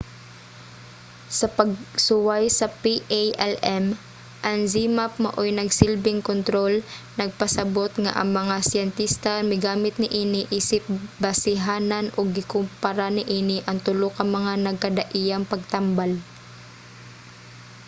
sa pagsuway sa palm ang zmapp maoy nagsilbing kontrol nagpasabot nga ang mga siyentista migamit niini isip basehanan ug gikumpara niini ang tulo ka mga nagkadaiyang pagtambal